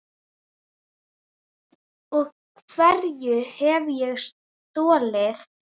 Og hverju hef ég stolið?